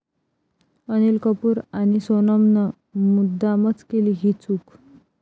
अनिल कपूर आणि सोनमनं मुद्दामच केली ही चूक?